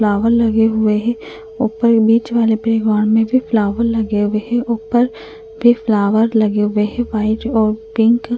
Flower लगे हुए हैं उपर बीच वाले पे हॉल में भी फ्लावर लगे हुए हैं उपर भी फ्लावर लगे हुए हैं वाइट और पिंक ।